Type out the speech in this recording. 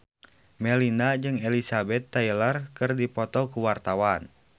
Melinda jeung Elizabeth Taylor keur dipoto ku wartawan